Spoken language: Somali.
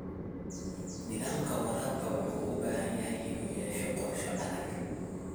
Nidaamka waraabka wuxuu u baahan yahay inuu yeesho qorshe adag.